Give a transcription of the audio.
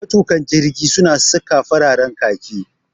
Matuƙan jirgi su na saka fararen khaki